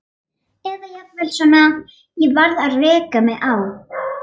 Eða jafnvel svona: Ég varð að reka mig á.